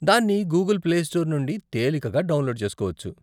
దాన్ని Google Play Store నుండి తేలికగా డౌన్లోడ్ చేసుకోవచ్చు.